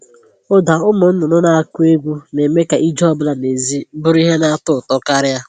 Ụda ụmụ nnụnụ na-akụ egwu na-eme ka ije ọ bụla n'èzí bụrụ ihe na-atọ ụtọ karịa